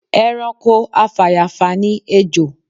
Ẹranko afàyàfà ni ejò